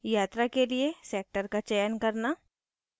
यात्रा के लिए sector का चयन करना